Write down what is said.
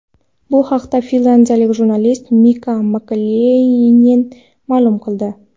Bu haqda finlyandiyalik jurnalist Mika Makelaynen ma’lum qildi.